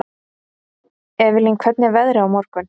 Evelyn, hvernig er veðrið á morgun?